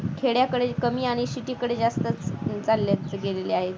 खेड्याकडे कमी आणि शेतीकडे जास्त चाललंय गेलेले आहे.